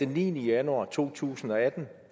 niende januar to tusind og atten